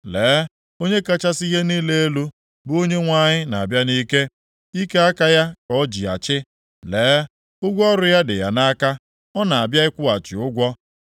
Lee, Onye kachasị ihe niile elu, bụ Onyenwe anyị na-abịa nʼike, ike aka ya ka o ji achị. Lee, ụgwọ ọrụ ya dị ya nʼaka, ọ na-abịa ịkwụghachi ụgwọ.